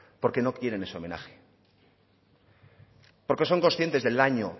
porque no quieren ese homenaje porque son conscientes del daño